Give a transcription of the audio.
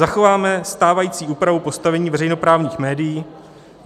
Zachováme stávající úpravu postavení veřejnoprávních médií.